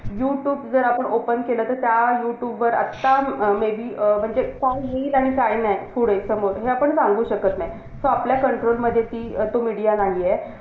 MPSC द्या आणि UPSC द्या एकच गोष्टी झालिये .